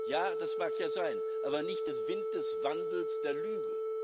Ja, das mag ja sein, aber nicht der Wind des Wandels der Lüge.